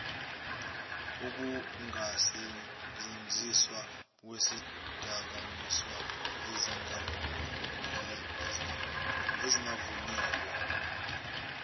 ukungasentshenziswa kwezidakamizwa ezingavunyelwe